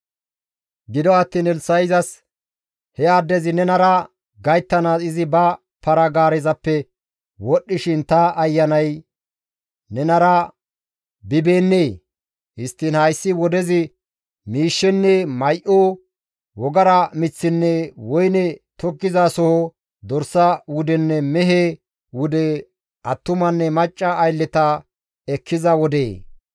Gido attiin Elssa7i izas, «He addezi nenara gayttanaas izi ba para-gaarezappe wodhdhishin ta ayanay nenara bibeennee? Histtiin hayssi wodezi miishshenne may7o, wogara miththinne woyne tokkizasoho, dorsa wudenne mehe wude, attumanne macca aylleta ekkiza wodee?